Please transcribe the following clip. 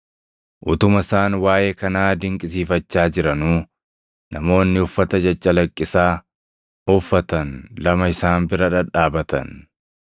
Utuma isaan waaʼee kanaa dinqisiifachaa jiranuu, namoonni uffata caccalaqqisaa uffatan lama isaan bira dhadhaabatan.